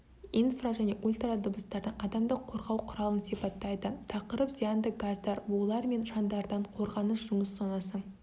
инфра және ультрадыбыстардан адамды қорғау құралын сипаттайды тақырып зиянды газдар булар мен шаңдардан қорғаныс жұмыс зонасы